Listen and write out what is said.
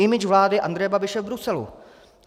Image vlády Andreje Babiše v Bruselu.